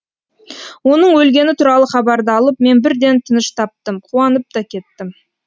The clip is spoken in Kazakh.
оның өлгені туралы хабарды алып мен бірден тыныш таптым қуанып та кеттім